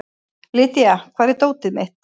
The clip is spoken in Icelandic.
Lydia, hvar er dótið mitt?